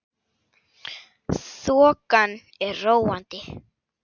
Þokan er róandi